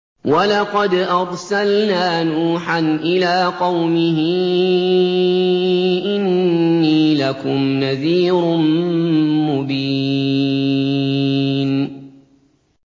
وَلَقَدْ أَرْسَلْنَا نُوحًا إِلَىٰ قَوْمِهِ إِنِّي لَكُمْ نَذِيرٌ مُّبِينٌ